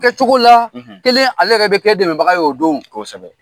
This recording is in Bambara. Kɛ cogo la , kelen ale yɛrɛ bi kɛ dɛmɛbaga ye o don . Kosɛbɛ.